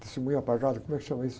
Testemunho apagado, como é que chama isso?